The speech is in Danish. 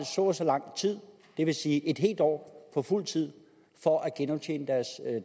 så og så lang tid det vil sige i en år på fuld tid for at genoptjene deres